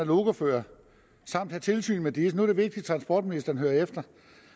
lokoførere samt have tilsyn med disse nu er det vigtigt at transportministeren hører efter